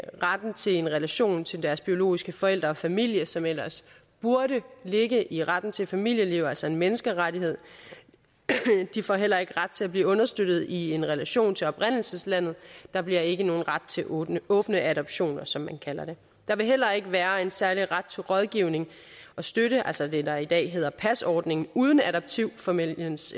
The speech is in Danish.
retten til en relation til deres biologiske forældre og familie som ellers burde ligge i retten til familieliv altså en menneskerettighed de får heller ikke ret til at blive understøttet i en relation til oprindelseslandet der bliver ikke nogen ret til åbne åbne adoptioner som man kalder det der vil heller ikke være en særlig ret til rådgivning og støtte altså det der i dag hedder pas ordningen uden adoptivfamiliens